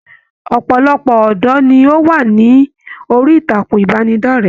Ọpọlọpọ ọdọ ní o wa ni orí ìtàkùn ìbánidọ̀rẹ̀.